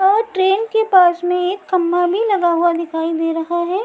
और ट्रेन के पास में एक खंभा भी लगा हुआ दिखाई दे रहा है।